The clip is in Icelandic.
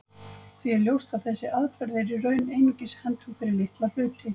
Því er ljóst að þessi aðferð er í raun einungis hentug fyrir litla hluti.